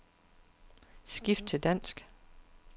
Skift til dansk.